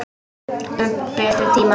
Um betri tíma.